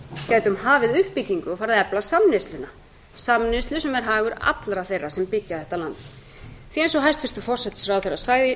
gætum hafið uppbyggingu og farið að efla samneysluna samneyslu sem er hagur allra þeirra sem byggja þetta land því eins og hæstvirtur forsætisráðherra sagði